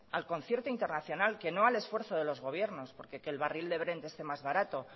al concierto internacional que no al esfuerzo de los gobiernos porque que el barril de brent esté más barato